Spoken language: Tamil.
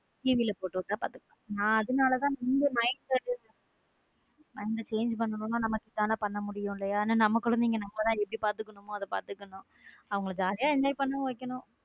TV போட்டுவிட்டா பாத்துப்பா அதனாலதான mind change பண்ணனும் இதுதான் பண்ணனும் பண்ண முடியும் இல்லையா ஏன்னா நம்ம குழந்தைங்க நம்ம தான் எப்படி பாத்துக்கணும் அப்படி பாத்துக்கணும் அவங்கள jolly யா enjoy பண்ண வைக்கணும்.